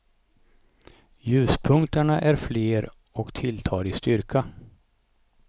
Ljuspunkterna är fler och tilltar i styrka.